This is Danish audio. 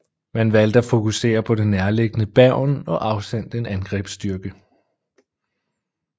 Man valgte at fokusere på det nærliggende Bergen og afsendte en angrebsstyrke